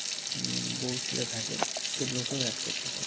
বৌ ছেলে থাকে সেগুলোকেও add করতে পারবে